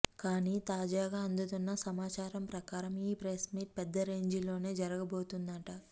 కానీ తాజాగా అందుతున్న సమాచారం ప్రకారం ఈ ప్రెస్ మీట్ పెద్ద రేంజిలోనే జరగబోతోందట